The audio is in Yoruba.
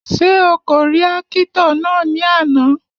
Ṣé o kò rí ákítọ̀ náà ní àná?